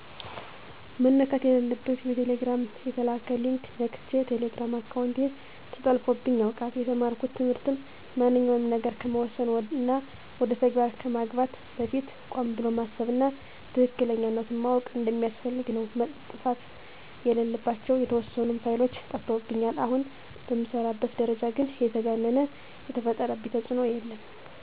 መነካት የለለበት በቴሌግራም የተላከ ሊንክ ነክቸ የቴሌግራም አካውንቴ ተጠልፎብኝ ያውቃል። የተማርኩት ትምህርትም ማንኛውንም ነገር ከመወሰን እና ወደ ተግባር ከማግባት በፊት ቆም ብሎ ማሰብ እና ትክክለኛነቱን ማዎቅ እንደሚያስፈልግ ነው። መጥፋት የለለባቸው የተዎሰኑ ፋይሎች ጠፍተውብኛል። አሁን በምሰራበት ደረጃ ግን የተጋነነ የፈጠረብኝ ተፅኖ የለም።